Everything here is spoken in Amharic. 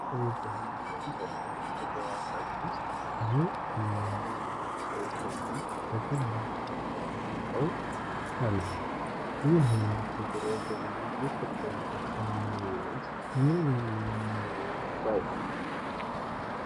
ባሕላዊ በሆነ የእንጨትና ሽቦ አጥር ውስጥ ብዙ ቡናማና ጥቁር ዶሮዎች በገበያ ላይ ተጨናንቀው አሉ። ይህ ዓይነት የዶሮ ግብይት በኢትዮጵያ ኢኮኖሚ ውስጥ ምን ሚና ይጫወታል?